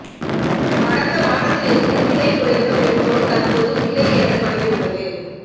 கடந்த வாரத்திலிருந்து விலை குறைந்த பெட்ரோல் தற்போது விலை ஏற தொடங்கியுள்ளது